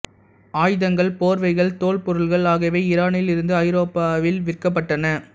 ஆயுதங்கள் போர்வைகள் தோல் பொருட்கள் ஆகியவை ஈரானில் இருந்து ஐரோப்பாவில் விற்கப்பட்டன